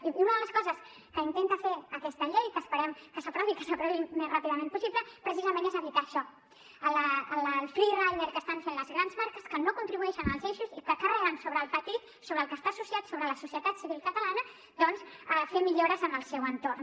i una de les coses que intenta fer aquesta llei que esperem que s’aprovi i que s’aprovi al més ràpidament possible precisament és evitar això el free rider que estan fent les grans marques que no contribueixen als eixos i que carreguen sobre el petit sobre el que està associat sobre la societat civil catalana doncs fer millores en el seu entorn